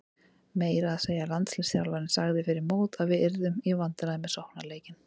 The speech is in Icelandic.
Meira að segja landsliðsþjálfarinn sagði fyrir mót að við yrðum í vandræðum með sóknarleikinn.